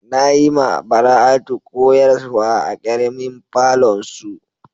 Na yi ma Bara'atu koyarswa a karemin falon su.